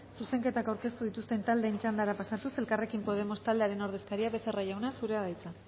zuzenketak aurkeztu dituzten taldeen txandara pasatuz elkarrekin podemos taldearen ordezkaria becerra jauna zurea da hitza